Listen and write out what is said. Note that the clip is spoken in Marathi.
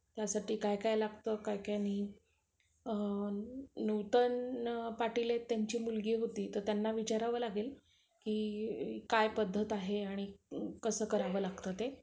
हम्म